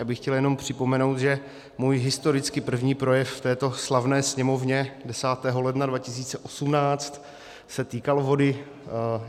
Já bych chtěl jenom připomenout, že můj historicky první projev v této slavné Sněmovně 10. ledna 2018 se týkal vody.